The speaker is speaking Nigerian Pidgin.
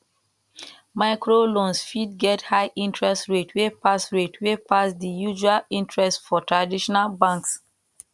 microloans fit get high interest rate wey pass rate wey pass di usual interest for traditional banks